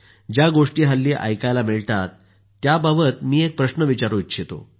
ज्या गोष्टी हल्ली ऐकायला मिळतात त्याबाबतच मी एक प्रश्न विचारू इच्छितो